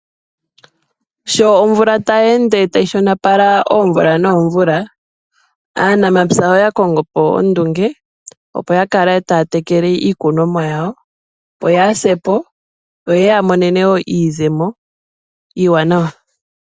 Sho omvula tayi ende tayi shonopala omvula nomvula, aanampya oyakongo po ondunge opo yakale taya tekele iikunomwa yawo opo yaasepo opo yeyamonene iizemo iiwanawa.